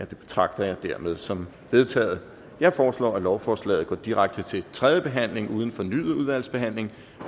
betragter jeg dermed som vedtaget jeg foreslår at lovforslaget går direkte til tredje behandling uden fornyet udvalgsbehandling